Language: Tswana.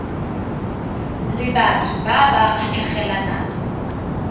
le batho ba ba kgatlhegelang